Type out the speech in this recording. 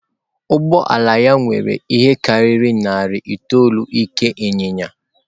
Ụgbọ ala ya nwere ihe karịrị narị itoolu ike inyinya.